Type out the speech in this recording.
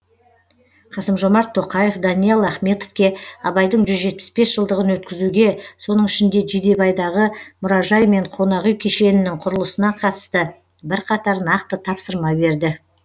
қасым жомарт тоқаев даниал ахметовке абайдың жылдығын өткізуге соның ішінде жидебайдағы мұражай мен қонақүй кешенінің құрылысына қатысты бірқатар нақты тапсырма берді